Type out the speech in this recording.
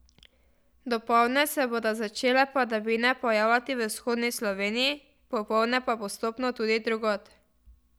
Dopoldne se bodo začele padavine pojavljati v vzhodni Sloveniji, popoldne pa postopno tudi drugod.